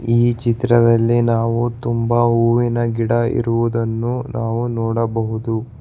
ಈ ಚಿತ್ರದಲ್ಲಿ ನಾವು ತುಂಬ ಹೂವಿನ ಗಿಡ ಇರುವುದನ್ನು ನಾವು ನೋಡಬಹುದು.